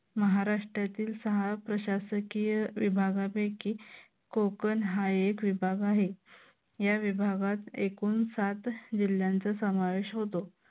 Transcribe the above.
महाराष्ट्रातील सहा प्रशासकीय विभागापैकी कोकण हा एक विभाग आहे. या विभागात एकूण सात जिल्ह्यांचा समावेश होतो.